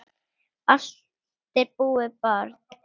Allt er búið, barn.